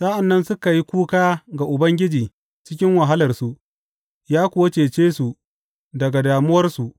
Sa’an nan suka yi kuka ga Ubangiji cikin wahalarsu, ya kuwa cece su daga damuwarsu.